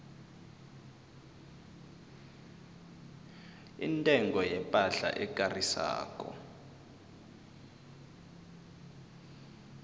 intengo yepahla ekarisako